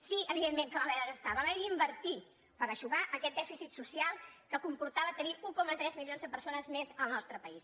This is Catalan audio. sí evidentment que vam haver de gastar vam haver d’invertir per eixugar aquest dèficit social que comportava tenir un coma tres milions de persones més al nostre país